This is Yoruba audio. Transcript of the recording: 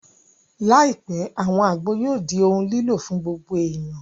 Láìpẹ́, àwọn àgbo yóò di ohun lílò fún gbogbo èèyàn